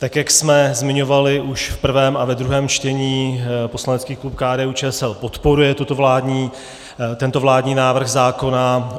Tak jak jsme zmiňovali už v prvém a ve druhém čtení, poslanecký klub KDU-ČSL podporuje tento vládní návrh zákona.